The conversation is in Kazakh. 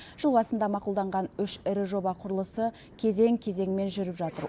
жыл басында мақұлданған үш ірі жоба құрылысы кезең кезеңімен жүріп жатыр